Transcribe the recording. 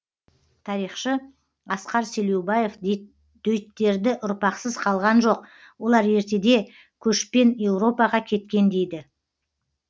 тарихшы асқар селеубаев дөйттерді ұрпақсыз қалған жоқ олар ертеде көшпен еуропаға кеткен дейді